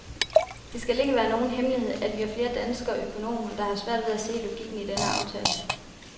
Det skal ikke være nogen hemmelighed, at vi er flere danske økonomer, der har svært ved at se logikken i den aftale.